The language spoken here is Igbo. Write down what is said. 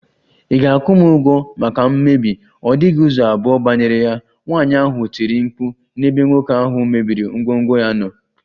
Ị ga- akwụ m ụgwọ maka mmebi, ọ dịghị ụzọ abụọ banyere ya, nwaanyị ahụ tiri mkpu n' ebe nwoke ahụ mebiri ngwongwo ya nọ.